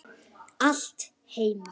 Allt heima.